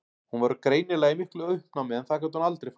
Hún var greinilega í miklu uppnámi en það gat hún aldrei falið.